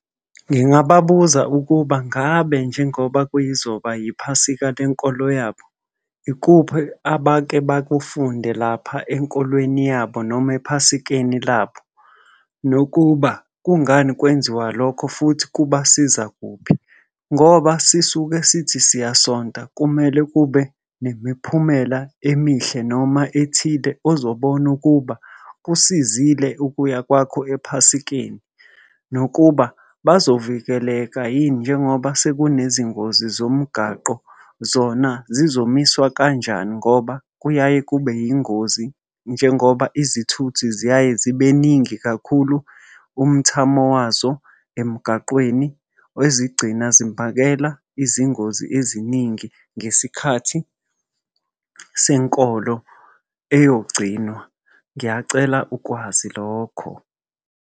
Ngingababuza ukuba ngabe njengoba kuyizoba iphasika lenkolo yabo, ikuphi abake bakufunde lapha enkolweni yabo noma ephasikeni labo. Nokuba kungani kwenziwa lokho futhi kubasiza kuphi. Ngoba sisuke sithi siyasonta, kumele kube nemiphumela emihle noma ethile ozobona ukuba kusizile ukuya kwakho ephasikeni. Nokuba bazovikeleka yini njengoba sekunezingozi zomgwaqo zona zizomiswa kanjani ngoba, kuyaye kube yingozi njengoba izithuthi ziyaye zibeningi kakhulu umthamo wazo emgaqweni ezigcina zimbhakela izingozi eziningi ngesikhathi senkolo eyogcinwa. Ngiyacela ukwazi lokho.